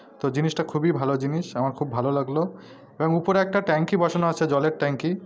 তো জিনিসটা খুবই ভালো জিনিস আমার খুব ভালো লাগলো। এবং উপরে একটা ট্যাংকি বসানো আছে জলের ট্যাংকি।